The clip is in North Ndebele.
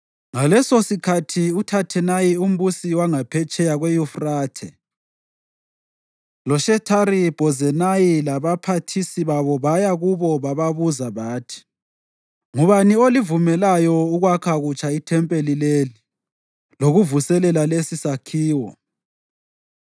Ngalesosikhathi uThathenayi umbusi wangaphetsheya kweYufrathe loShethari-Bhozenayi labaphathisi babo baya kubo bababuza bathi, “Ngubani olivumeleyo ukwakha kutsha ithempeli leli lokuvuselela lesisakhiwo?”